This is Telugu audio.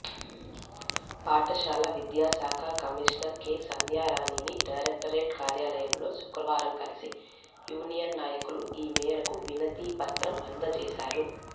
పాఠశాల విద్యాశాఖ కమిషనర్ కె సంధ్యారాణిని డైరెక్టరేట్ కార్యాలయంలో శుక్రవారం కలిసి యూనియన్ నాయకులు ఈ మేరకు వినతిపత్రం అందజేశారు